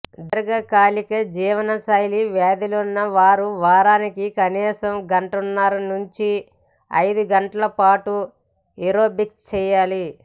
దీర్ఘకాలిక జీవనశైలి వ్యాధులున్న వారు వారానికి కనీసం గంటన్నర నుంచి ఐదు గంటలపాటు ఏరోబిక్స్ చేయాలి